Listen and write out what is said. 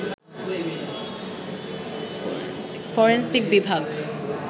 forensic বিভাগ